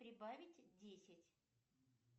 прибавить десять